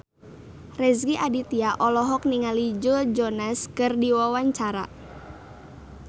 Rezky Aditya olohok ningali Joe Jonas keur diwawancara